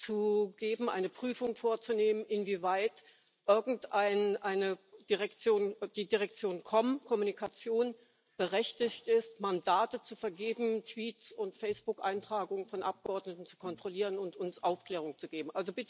zu geben, eine Prüfung vorzunehmen, inwieweit irgendeine Direktion, die Generaldirektion Kommunikation, berechtigt ist, Mandate zu vergeben, Tweets und Facebook Einträge von Abgeordneten zu kontrollieren und uns Aufklärung zu geben.